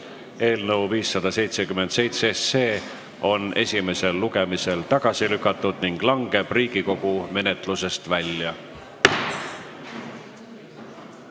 Eelnõu 577 on esimesel lugemisel tagasi lükatud ning langeb Riigikogu menetlusest välja.